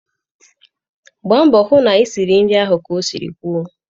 Gba mbọ ịhụ na isiri nri ahụ ka e si kwuo